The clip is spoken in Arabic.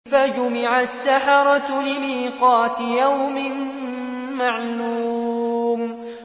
فَجُمِعَ السَّحَرَةُ لِمِيقَاتِ يَوْمٍ مَّعْلُومٍ